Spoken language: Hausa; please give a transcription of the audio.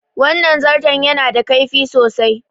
Wannan zarton ya na da kaifi sosai